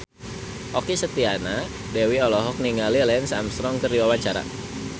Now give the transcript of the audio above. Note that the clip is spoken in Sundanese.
Okky Setiana Dewi olohok ningali Lance Armstrong keur diwawancara